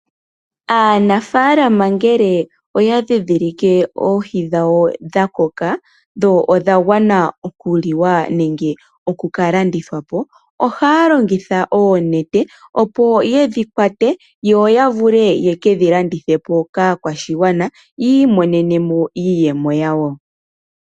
Aanafaalama ngele oya ndhindhilike oohi dhawo dha koka dho odha gwana oku liwa nenge oku ka landithwa po . Ohaya longitha oonete opo yedhi kwate yo ya vule yeke dhi landithe po kaakwashigwana yi imonene mo iiyemo yawo.